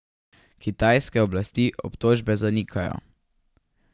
Kitajske oblasti obtožbe zanikajo.